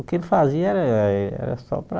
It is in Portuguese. O que ele fazia era´era só para...